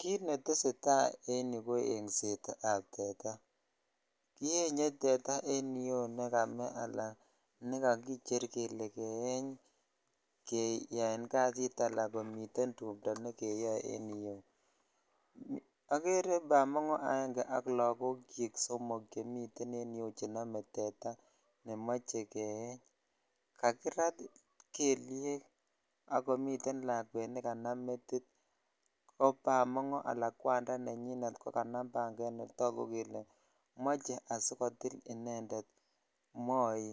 Kit netesetai en yu ko ingset ab tetaa kinyenye tetaa nekame ala nekakicher kele keyeny keyan kasit ala myiten tumto nejeyoeen iyeu agere bamongo aenge ak lokok chik somok chemiten en yuu cheo.e tetaa nemoche keyeny kakirat kelyek ak komii lakwet nekanam metit ko bamongo ala kwandaa nenyin ko kanam banget ne tagu kele myche asikotil indeed moii